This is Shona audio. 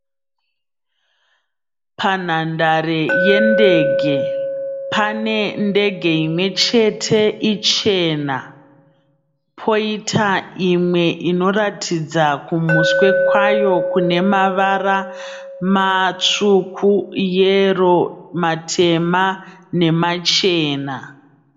Panhandare yendege. Pane ndege imwe chete ichena. Poita imwe inoratidza kumuswe kwayo kune mavara, matsvuku yero, matema nemachena.